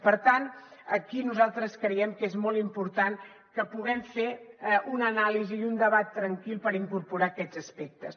per tant aquí nosaltres creiem que és molt important que puguem fer una anàlisi i un debat tranquils per incorporar aquests aspectes